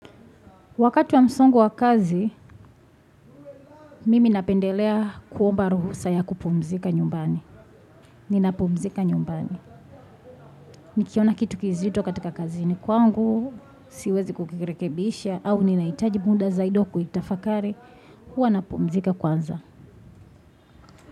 Wakati wa msongo wa kazi, mimi napendelea kuomba ruhusa ya kupumzika nyumbani. Ninapumzika nyumbani. Nikiona kitu kizito katika kazini kwangu, siwezi kukirekebisha, au ninahitaji muda zaida wa kuitafakari, huwa napumzika kwanza.